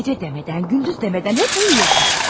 Gecə demədən, gündüz demədən hep uyuyursan.